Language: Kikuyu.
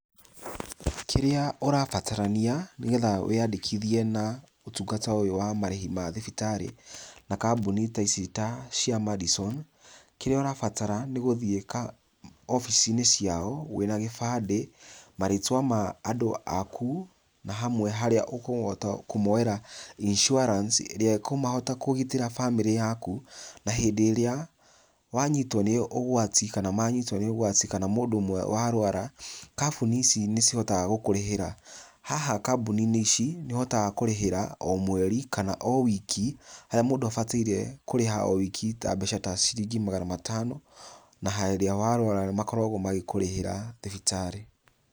Kĩrĩa ũrabatarania nĩgetha wĩyandĩkithie na ũtungata ũyũ wa marĩhi ma thibĩtarĩ na kambuni ta ici ta cia Madison. Kĩrĩa ũrabatara nĩgũthiĩ obici-inĩ ciao wĩna gĩbandĩ, marĩtwa ma andũ aku, na hamwe harĩa ũkũhota kũmoera insurance ĩrĩa ĩkũhota kũgitĩra bamĩrĩ yaku, na hĩndĩ ĩrĩa wanyitwo nĩ ũgwati, kana manyitwo nĩ ũgwati, kana mũndũ ũmwe warwara, kabuni ici nicihotaga gũkũrĩhĩra. Haha kambuni-inĩ ici nĩũhotaga kũrĩhĩra o mweri, kana o wiki, harĩa mũndũ abataire kũrĩha o wiki ta mbeca ta ciringi magana matano na harĩa warwara makoragwo magĩkũrĩhĩra thibĩtarĩ.